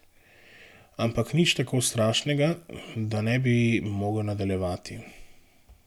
Ampak nič tako strašnega, da ne bi mogel nadaljevati.